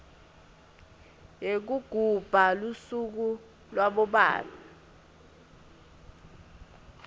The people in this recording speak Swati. yekugubha lusuku labobabe